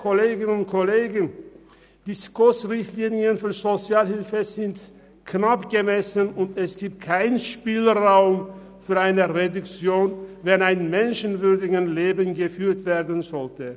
Die SKOS-Richtlinien sind knapp bemessen, und es gibt keinen Spielraum für eine Reduktion, wenn ein menschenwürdiges Leben geführt werden soll.